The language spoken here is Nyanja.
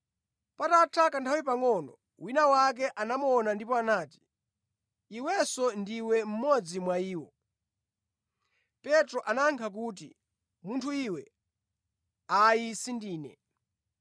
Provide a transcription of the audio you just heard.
Patatha kanthawi pangʼono, wina wake anamuona ndipo anati, “Iwenso ndiwe mmodzi mwa iwo.” Petro anayankha kuti, “Munthu iwe, ayi sindine.”